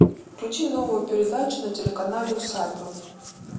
включи новую передачу на телеканале усадьба